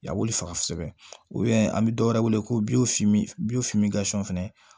A wuli faga kosɛbɛ an bɛ dɔwɛrɛ wele ko fɛnɛ